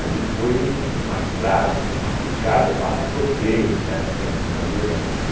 Ali foi um uma estrada, uma picada para tropeiros, na época dos Bandeirantes.